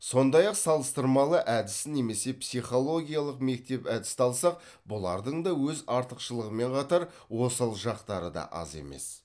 сондай ақ салыстырмалы әдісін немесе психологиялық мектеп әдісті алсақ бұлардың да өз артықшылығымен қатар осал жақтары да аз емес